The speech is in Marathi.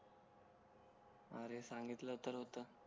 अरे सांगितलं तर होत